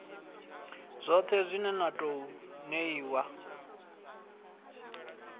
dzoṱhe dzine na ḓo ṋeiwa